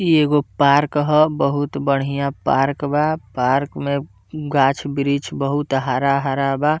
इ एगो पार्क हो बहुत बढ़िया पार्क बा पार्क में गाछ-वृछ बहुत हरा-हरा बा।